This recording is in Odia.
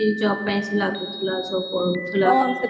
କେମିତି job ପାଇଁ ସେ ଲାଗୁଥିଲା ସବୁ ପଢୁଥିଲା